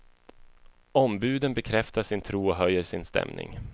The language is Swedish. Ombuden bekräftar sin tro och höjer sin stämning.